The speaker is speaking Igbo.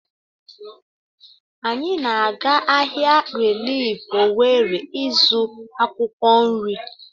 Anyị na-aga ahịa rilif Owere ịzụ akwụkwọ nrị.